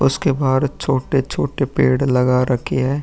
उसके बाहर छोटे-छोटे पेड़ लगा रखे हैं।